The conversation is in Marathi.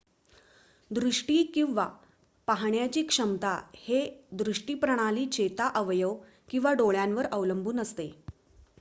दृष्टी किंवा पाहण्याची क्षमता हे दृष्टी प्रणाली चेता अवयव किंवा डोळ्यांवर अवलंबून असते